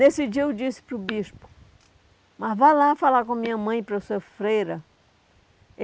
Nesse dia eu disse para o bispo, mas vá lá falar com a minha mãe para eu ser freira.